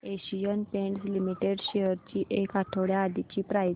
Asian Paints Limited shares ची एक आठवड्या आधीची प्राइस